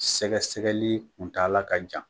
Sɛgɛsɛgɛli kuntaala ka jan.